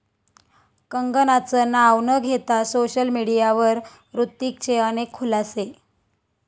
कंगनाचं नाव न घेता सोशल मीडियावर हृतिकचे अनेक खुलासे